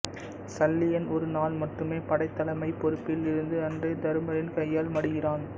சல்லியன் ஒரு நாள் மட்டுமே படைத் தலைமைப் பொறுப்பில் இருந்து அன்றே தருமரின் கையால் மடிகிறான்